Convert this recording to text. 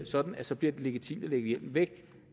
sådan at så bliver det legitimt at lægge hjelmen væk